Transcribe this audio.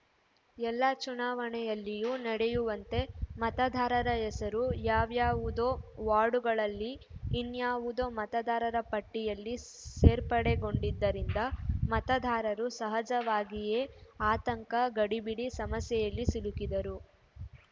ಎಲ್ಲ ಚುನಾವಣೆಯಲ್ಲಿಯೂ ನಡೆಯುವಂತೆ ಮತದಾರರ ಹೆಸರು ಯಾವ್ಯಾವುದೋ ವಾರ್ಡುಗಳಲ್ಲಿ ಇನ್ನಾವುದೋ ಮತದಾರ ಪಟ್ಟಿಯಲ್ಲಿ ಸೇರ್ಪಡೆಗೊಂಡಿದ್ದರಿಂದ ಮತದಾರರು ಸಹಜವಾಗಿಯೇ ಆತಂಕ ಗಡಿಬಿಡಿ ಸಮಸ್ಯೆಯಲ್ಲಿ ಸಿಲುಕಿದರು